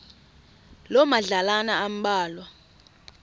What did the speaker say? loo madlalana ambalwa